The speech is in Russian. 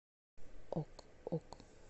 ок ок